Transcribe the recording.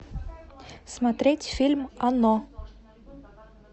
смотреть фильм оно